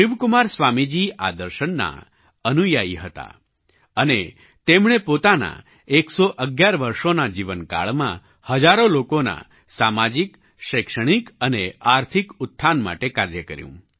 શિવકુમાર સ્વામીજી આ દર્શનના અનુયાયી હતા અને તેમણે પોતાનાં 111 વર્ષોનાં જીવનકાળમાં હજારો લોકોના સામાજિક શૈક્ષણિક અને આર્થિક ઉત્થાન માટે કાર્ય કર્યું